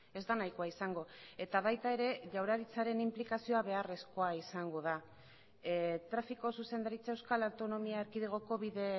ez da nahikoa izango eta baita ere jaurlaritzaren inplikazioa beharrezkoa izango da trafiko zuzendaritza euskal autonomia erkidegoko bide